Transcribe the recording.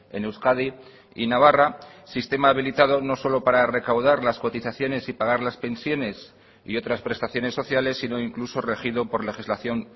en euskadi y navarra sistema habilitado no solo para recaudar las cotizaciones y pagar las pensiones y otras prestaciones sociales sino incluso regido por legislación